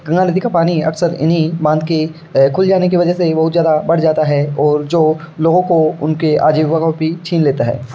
गंगा नदी का पानी अक्सर इन्ही बांध के खुल जाने से बहुत ज्यादा बढ़ जाता है और लोगो को उनके आजीवीका को भी छीन लेता है ।